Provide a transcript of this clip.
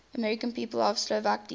american people of slovak descent